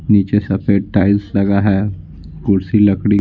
नीचे सफेद टाइल्स लगा है कुर्सी लकड़ी --